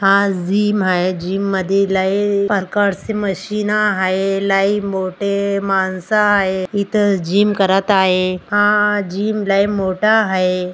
हा जीम आहे जिम मध्ये लय प्रकारचे मशीन हाये लय मोठे मानस हाये इथ जीम करत आहे हा जीम लय मोठा हाये.